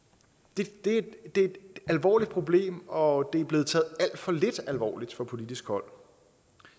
det er et alvorligt problem og det er blevet taget alt for lidt alvorligt fra politisk hold